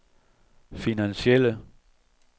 finansielle